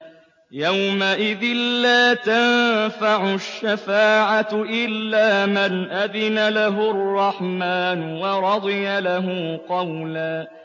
يَوْمَئِذٍ لَّا تَنفَعُ الشَّفَاعَةُ إِلَّا مَنْ أَذِنَ لَهُ الرَّحْمَٰنُ وَرَضِيَ لَهُ قَوْلًا